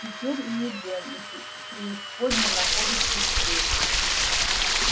теперь и эдем и преисподняя находятся здесь же